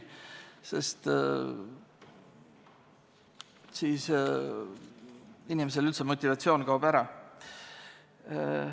Siis kaoks inimesel üldse motivatsioon ära.